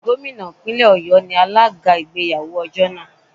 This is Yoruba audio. Gómìnà Ìpínlẹ̀ Ọ̀yọ́ ni alága ìgbéyàwó ọjọ́ náà.